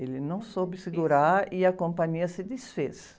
Ele não soube segurar e a companhia se desfez.